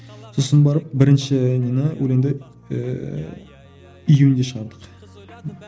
сосын барып бірінші нені өлеңді ііі июньде шығардық